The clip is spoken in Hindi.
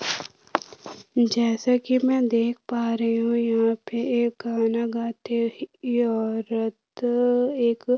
जैसे कि मे देख पा रही हूं यहां पे एक गाना गाती हुईं ये औरत एक --